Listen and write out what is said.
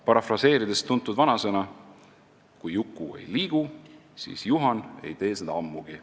Parafraseerin tuntud vanasõna: "Kui Juku ei liigu, siis Juhan ei tee seda ammugi.